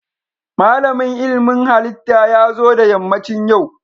Malamin ilmin halitta ya zo da yammacin yau